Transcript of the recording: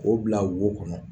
O bila wo kɔnɔ